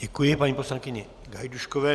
Děkuji paní poslankyni Gajdůškové.